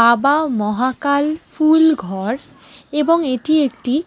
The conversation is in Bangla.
বাবা মহাকাল ফুলঘর এবং এটি একটি--